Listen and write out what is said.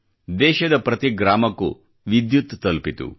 ದೇಶದ ಪ್ರತಿ ಗ್ರಾಮಕ್ಕೂ ವಿದ್ಯುತ್ ತಲುಪಿತು